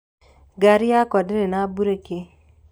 Ngaari yakwa ndĩrĩ na mbureki.